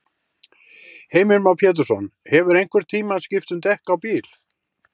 Heimir Már Pétursson: Hefurðu einhvern tímann skipt um dekk á bíl?